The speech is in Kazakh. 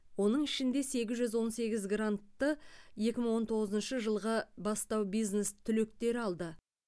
оның ішінде сегіз жүз он сегіз грантты екі мың он тоғызыншы жылғы бастау бизнес түлектері алды